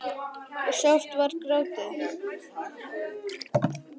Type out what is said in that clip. og sárt var grátið.